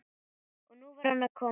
Og nú var hann að koma aftur!